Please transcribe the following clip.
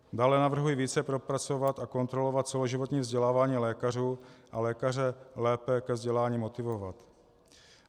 Dále navrhuji více propracovat a kontrolovat celoživotní vzdělávání lékařů a lékaře lépe ke vzdělání motivovat.